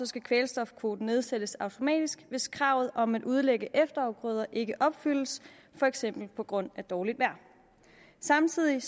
skal kvælstofkvoten nedsættes automatisk hvis kravet om at udlægge efterafgrøder ikke opfyldes for eksempel på grund af dårligt vejr samtidig